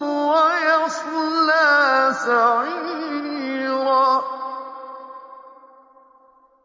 وَيَصْلَىٰ سَعِيرًا